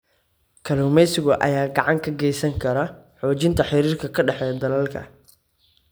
Kalluumeysiga ayaa gacan ka geysan kara xoojinta xiriirka ka dhexeeya dalalka.